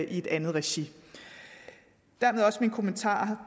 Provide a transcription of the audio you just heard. i et andet regi dermed også min kommentar